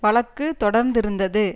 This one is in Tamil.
வழக்கு தொடர்ந்திருந்தது